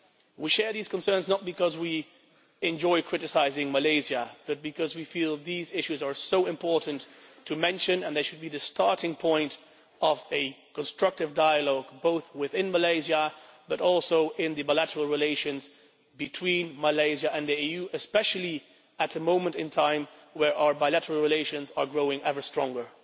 We share these concerns not because we enjoy criticising Malaysia but because we feel that these issues are so important to mention and that they should be the starting point of a constructive dialogue both within Malaysia and also in the bilateral relations between Malaysia and the EU, especially at a time when our bilateral relations are growing ever stronger.